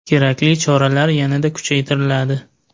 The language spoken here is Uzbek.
Kerakli choralar yanada kuchaytiriladi.